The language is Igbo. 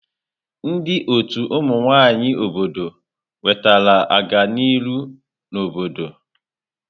Ndị ọtù ụmụ nwaanyị obodo ewetela ọganiru n'obodo.